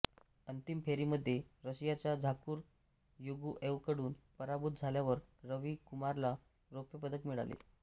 अंतिम फेरीमध्ये रशियाच्या झागुर युगूएव्हकडून पराभूत झाल्यावर रवी कुमारला रौप्यपदक मिळाले